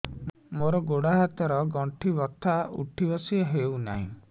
ମୋର ଗୋଡ଼ ହାତ ର ଗଣ୍ଠି ବଥା ଉଠି ବସି ହେଉନାହିଁ